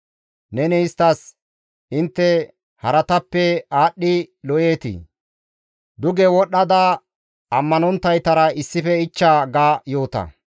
Neni isttas, ‹Intte haratappe aadhdhidi lo7eetii? Duge wodhdhada ammanonttaytara issife ichcha› ga yoota.